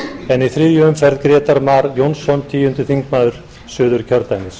en í þriðju umferð grétar mar jónsson tíundi þingmaður suðurkjördæmis